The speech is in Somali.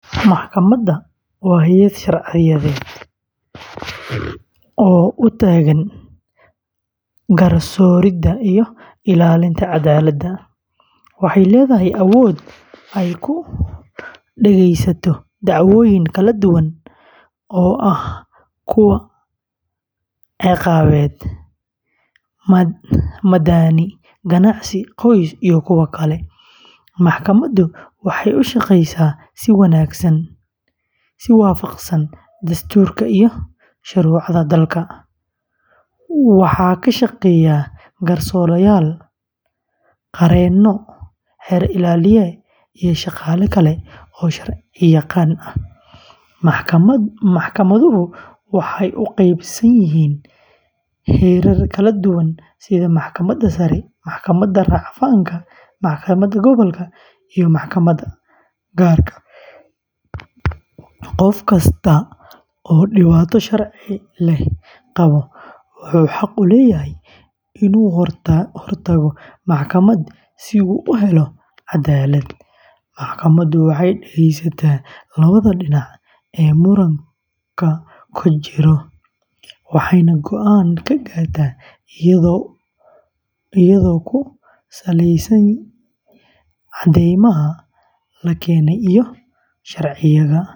Maxkamad waa hay’ad sharciyeed oo u taagan garsooridda iyo ilaalinta cadaaladda. Waxay leedahay awood ay ku dhegaysato dacwooyin kala duwan oo ah kuwo ciqaabeed, madani, ganacsi, qoys, iyo kuwo kale. Maxkamaddu waxay u shaqeysaa si waafaqsan dastuurka iyo shuruucda dalka. Waxaa ka shaqeeya garsoorayaal, qareenno, xeer ilaaliye, iyo shaqaale kale oo sharciyaqaan ah. Maxkamaduhu waxay u qeybsan yihiin heerar kala duwan sida Maxkamadda Sare, Maxkamadda Rafcaanka, Maxkamadda Gobolka, iyo Maxkamadaha Gaar ah. Qof kasta oo dhibaato sharci leh qaba wuxuu xaq u leeyahay inuu hor tago maxkamad si uu u helo cadaalad. Maxkamaddu waxay dhegeysataa labada dhinac ee muranka ku jira, waxayna go’aan ka gaartaa iyadoo ku saleynaysa caddeymaha.